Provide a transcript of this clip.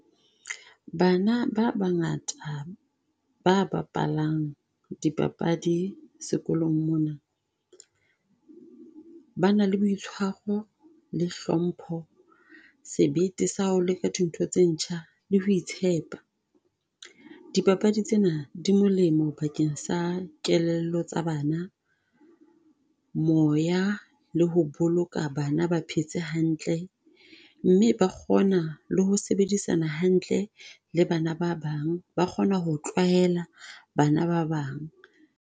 Bana ba bangata ba bapalang di papadi sekolong mona. Ba na le boitshwaro le hlompho, sebete sa ho leka dintho tse ntjha le ho itshepa. Dipapadi tsena di molemo bakeng sa kelello tsa bana, moya le ho boloka bana ba phetse hantle. Mme ba kgona le ho sebedisana hantle le bana ba bang, ba kgona ho tlwaela bana ba bang.